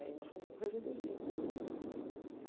Aí nós fomos para corregedoria.